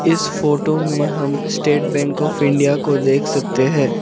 इस फोटो में हम स्टेट बैंक ऑफ़ इंडिया को देख सकते हैं।